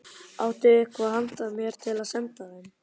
Áttu eitthvað handa mér til að senda þeim?